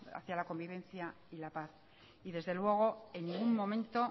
hacía la convivencia y la paz y desde luego en ningún momento